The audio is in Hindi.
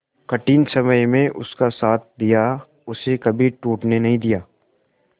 कठिन समय में उसका साथ दिया उसे कभी टूटने नहीं दिया